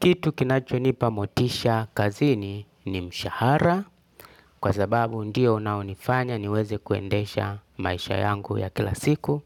Kitu kinachonipa motisha kazini ni mshahara kwa sababu ndio unaonifanya niweze kuendesha maisha yangu ya kila siku.